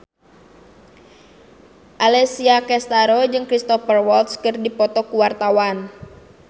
Alessia Cestaro jeung Cristhoper Waltz keur dipoto ku wartawan